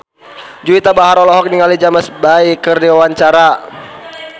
Juwita Bahar olohok ningali James Bay keur diwawancara